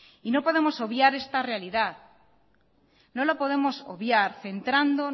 no podemos obviar esta realidad no la podemos obviar centrando